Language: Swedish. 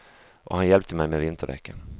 Och han hjälpte mig med vinterdäcken.